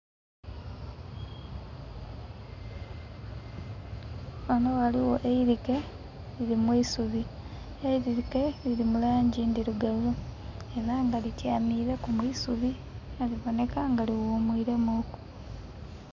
Ghano ghaligho eirike liri mwisubi, eirike liri mu langi endhirugavu, era nga lityamireku mwisubi nga liboneka nga li ghumwiremu ku.